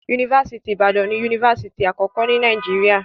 Yunifásítì Ìbàdàn ni yunifásítì àkọ́kọ́ ní Nàìjíríà.